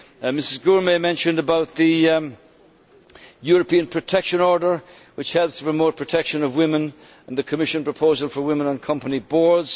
Ms Gurmai mentioned about the European protection order, which helps promote the protection of women, and the Commission proposal for women on company boards.